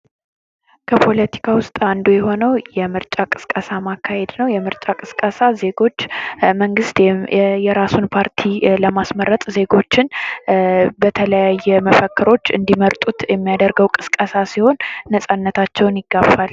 በፓለቲካ ውስጥ አንዱ የሆነው የምርጫ ቅስቀሳ ማካሄድ ነው። የምርጫ ቅስቀሳ ዜጎች መንግስት የራሳቸውን ፓርቲ ለሚስመረጥ ዜጎችን በተለያየ መፈክሮች እንድመርጡት የሚያደርገው ቅስቀሳ ሲሆን ነጻነታቸውን ይጋፋል።